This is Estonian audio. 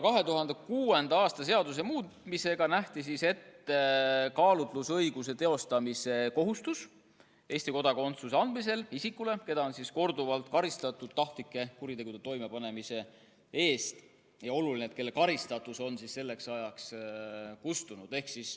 2006. aasta seaduse muutmisega nähti ette kaalutlusõiguse teostamise kohustus Eesti kodakondsuse andmisel isikule, keda on korduvalt karistatud tahtlike kuritegude toimepanemise eest ja kelle karistatus on selleks ajaks kustunud.